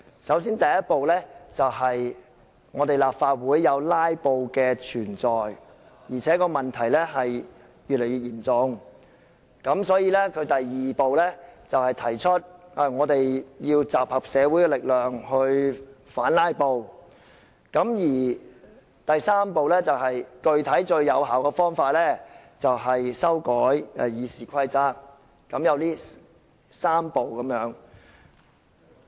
首先，第一步是由於立法會出現"拉布"的情況，而且越來越嚴重，所以，第二步便提出要集合社會的力量來反"拉布"，而第三步便是採取最有效的具體方法，亦即修改《議事規則》。